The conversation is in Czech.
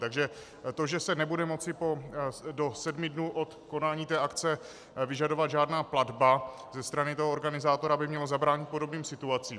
Takže to, že se nebude moci do sedmi dnů od konání té akce vyžadovat žádná platba ze strany toho organizátora, by mělo zabránit podobným situacím.